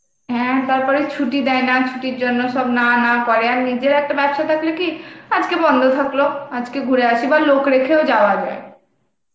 হ্যাঁ, তারপরে ছুটি দেয় না, ছুটি র জন্য সব না না করে আর নিজের একটা ব্যবসা থাকলে কি আজকে বন্ধ থাকলো আজকে ঘুরে আসি বা লোক রাখেও যাওয়া যায়